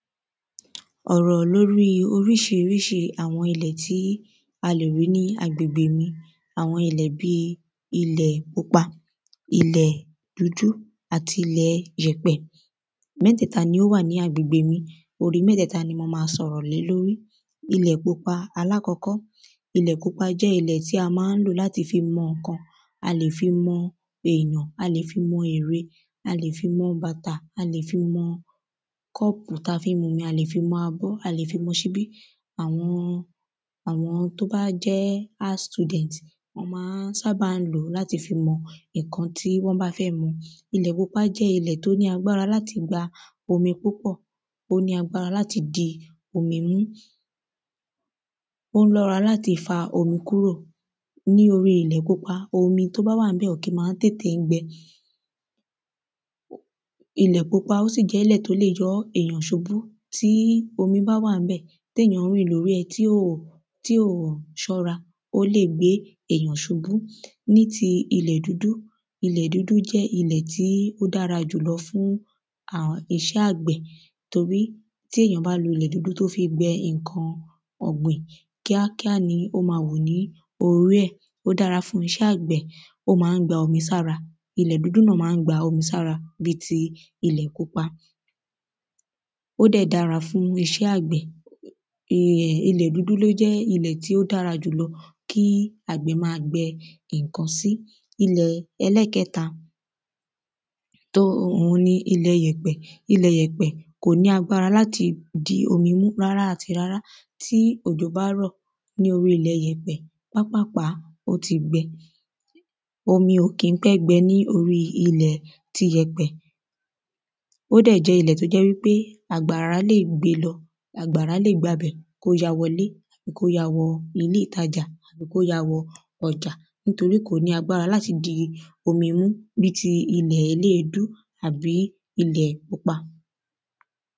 Ọ̀rọ̀ lórí oríṣiríṣi àwọn tí a lè rí ní agbègbè mi àwọn ilẹ́ bí ilẹ̀ pupa ilẹ̀ dúdú àti ilẹ̀ ìyèpẹ̀. Mẹ́tẹ̀ta ni ó wà ní agbègbè mi mẹ́tẹ̀ta náà ni mo má sọ̀rọ̀ lé lórí. Ilẹ̀ pupa alákọ́kọ́ ilẹ̀ pupa jẹ́ ilẹ̀ tí a má ń lò láti fi mọ nǹkan a lè fi mọ èyàn a lè fi mọ ère a lè fi mọ bàtà a lè fi mọ kọ́ọ̀pù tá fi ń mumi a lè fi mọ abọ́ a lè fi mọ ṣíbí. Àwọn àwọn tó bá jẹ́ art student wọ́n má ń ṣábà lòó láti fi mọ nǹkan tán bá fẹ́ mọ ilẹ̀ pupa jẹ́ ilẹ̀ tó ní agbára láti gba omi púpọ̀ ó ní agbára láti di omi mú. Ó lára láti fa omi kúrò Ní irú ilẹ̀ pupa omi tó bá wà ńbẹ̀ ò kí má ń tètè gbẹ. Ilẹ̀ pupa ó sì jẹ́lẹ̀ tó le yọ́ yàn ṣubú tí omi bá wà ńbẹ̀. téyàn ń rìn lórí ẹ̀ tí ò tí ò ṣọ́ra ó lè gbé èyàn ṣubú. Ní ti ilẹ̀ dúdú ilẹ̀ dúdú jẹ́ ilẹ̀ tó dára jùlọ fún a iṣẹ́ àgbẹ̀ torí tí èyàn bá lo ilẹ̀ dúdú tó fi gbẹ nǹkan ọ̀gbìn kíá kíá ni ó má hù lórí ẹ̀ ó dára fún iṣẹ́ àgbẹ̀ ó má ń gba omi sára ilẹ̀ dúdú náà má ń gba omi sára bí ti ilẹ̀ pupa. Ó dẹ̀ dára fún iṣẹ́ àgbẹ̀. Ilẹ̀ dúdú ló jẹ́ ilẹ̀ tí ó dára jùlọ kí àgbẹ̀ má gbẹ nǹkan sí. Ilẹ̀ ẹlẹ́ẹ̀kẹta tó òhun ni ilẹ̀ ìyèpẹ̀ kò ní agbára láti di omi mú rárá àti rárá. Tí òjò bá rọ̀ ní orí ilẹ̀ ìyèpẹ̀ pápápàá ó ti gbẹ omi ò kí ń pẹ́ gbẹ ní orí ilẹ̀ tìyèpẹ̀. ó dẹ̀ jẹ́ ilẹ̀ tó jẹ́ wípé àgbára lè gbé lọ àgbàrá lè wọ bẹ̀ kó ya wọlé tàbí kó ya wọ ilé ìtajà tàbí kó ya wọ ọjà torí kò ní agbára láti omi mú bí ti ilẹ̀ eléèdú tàbí ilẹ̀ pupa.